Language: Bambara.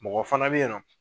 Mɔgɔ fana bɛ yen nɔ